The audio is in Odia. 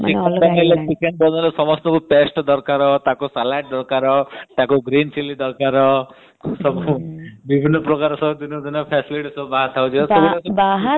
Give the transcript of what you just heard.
ଏବେ chicken ବନେଇଲେ ତାକୁ paste ଦରକାର ତାକୁ salad ଦରକାର ତାକୁ green chilly ଦରକାର ସବୁ ବିଭିନ୍ନ ପ୍ରକାର facility ଆସିଗଲାଣି